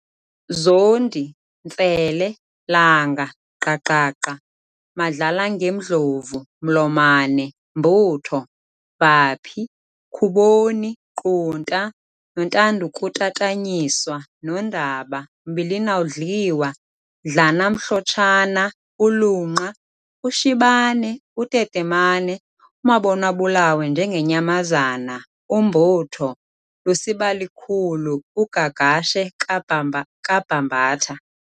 Zondi- Ntsele, langa, gqagqagqa, Madlalangemdlovu, mlomane, mbutho, vaphi, khuboni, qunta, Nontandukutatanyiswa, Nondaba, mbilin'awudliwa, dlanamhlotshana, uluqa, ushibane, utetemane, umabonw'abulawe njengenyamazane, umbutho, lusibalikhulu, ugagashe kaBhambatha.